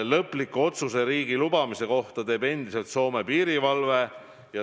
Lõpliku otsuse riiki lubamise kohta teeb endiselt Soome piirivalve.